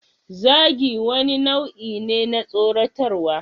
Zagi wani nau'i ne na tsoratarwa.